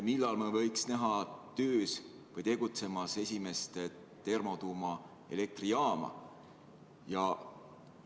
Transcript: Millal me võiks näha töös või tegutsemas esimest termotuumaelektrijaama?